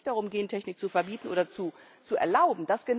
Es geht also nicht darum, Gentechnik zu verbieten oder zu erlauben.